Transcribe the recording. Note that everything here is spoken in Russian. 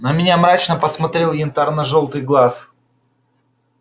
на меня мрачно посмотрел янтарно-жёлтый глаз